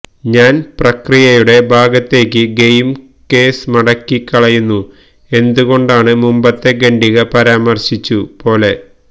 ഞാൻ പ്രക്രിയയുടെ ഭാഗത്തേക്ക് ഗെയിം കേസ് മടക്കിക്കളയുന്നു എന്തുകൊണ്ടാണ് മുമ്പത്തെ ഖണ്ഡിക പരാമർശിച്ചു പോലെ